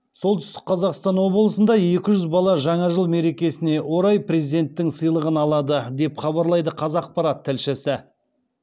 солтүстік қазақстан облысында екі жүз бала жаңа жыл мерекесіне орай президенттің сыйлығын алады деп хабарлайды қазақпарат тілшісі